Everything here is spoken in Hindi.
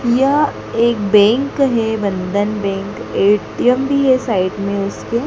यह एक बैंक हैं बंधन बैंक ए_टी_एम भीं हैं साइड में उसके।